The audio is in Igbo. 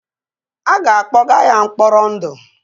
A ga-akpọga ya mkpọrọ ndụ.